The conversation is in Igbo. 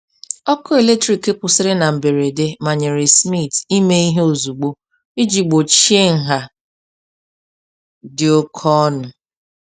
Ọkụ eletrik kwụsịrị na mberede manyere Smith ime ihe ozugbo iji gbochie nha dị oke ọnụ.